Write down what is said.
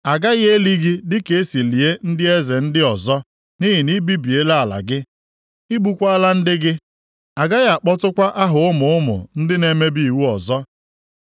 A gaghị eli gị dịka e si lie ndị eze ndị ọzọ, nʼihi na i bibiela ala gị. I gbukwaala ndị gị. A gaghị akpọtụkwa aha ụmụ ụmụ ndị na-emebi iwu ọzọ.